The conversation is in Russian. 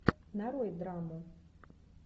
нарой драму